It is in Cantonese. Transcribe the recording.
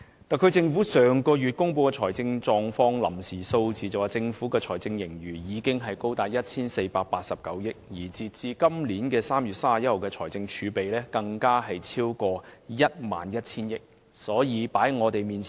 特區政府上個月公布的財政狀況臨時數字顯示，政府的財政盈餘已高達 1,489 億元，截至2018年3月31日的財政儲備，更超逾 11,000 億元。